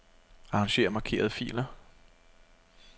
Arranger markerede filer.